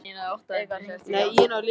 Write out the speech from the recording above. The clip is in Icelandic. Eikar, hringdu í Ásleif.